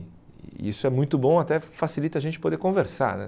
E isso é muito bom, até facilita a gente poder conversar né.